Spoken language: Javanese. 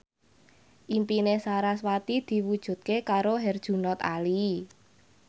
impine sarasvati diwujudke karo Herjunot Ali